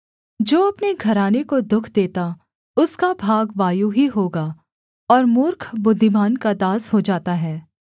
जो अपने घराने को दुःख देता उसका भाग वायु ही होगा और मूर्ख बुद्धिमान का दास हो जाता है